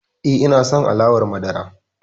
E, ina son alawar madara.